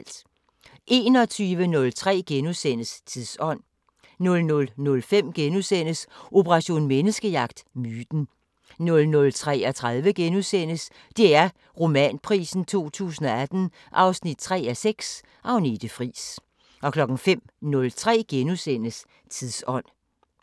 21:03: Tidsånd * 00:05: Operation Menneskejagt: Myten * 00:33: DR Romanprisen 2018 3:6 – Agnete Friis * 05:03: Tidsånd *